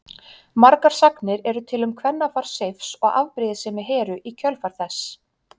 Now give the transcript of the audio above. Margar sagnir eru til um kvennafar Seifs og afbrýðisemi Heru í kjölfar þess.